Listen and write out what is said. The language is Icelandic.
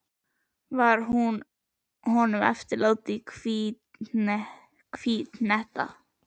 Var hún honum eftirlát í hvívetna.